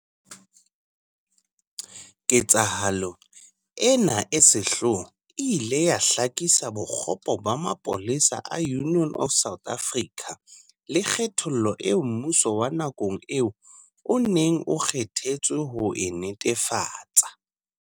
Ketsahalo ena e sehloho e ile ya hlakisa bokgopo ba mapolesa a Union of South Africa, le kgethollo eo mmuso wa nakong eo o neng o kge thetswe ho e netefatsa.